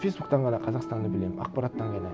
фейсбуктен ғана қазақстанды білемін ақпараттан ғана